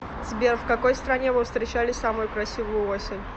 сбер в какой стране вы встречали самую красивую осень